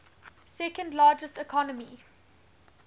second largest economy